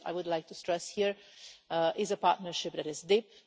I would like to stress here that it is a partnership that is deep.